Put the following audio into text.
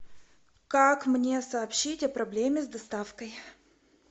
как мне сообщить о проблеме с доставкой